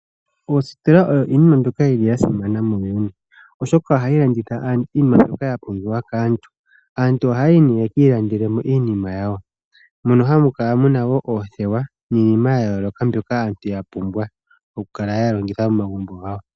Oositola odho iinima mbyoka ya simana muuyuni, oshoka ohayi landitha aantu iinima mbyoka ya pumbiwa kaantu. Aantu ohaya yi nduno ya ka ilandele mo iinima yawo. Ohamu kala mu na oothewa niinima ya yooloka mbyoka aantu ya pumbwa okukala ya longitha momagumbo gawo.